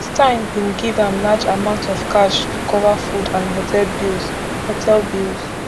stein bin give am large amount of cash to cover food and hotel bills hotel bills